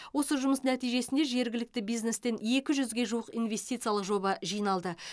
осы жұмыс нәтижесінде жергілікті бизнестен екі жүзге жуық инвестициялық жоба жиналды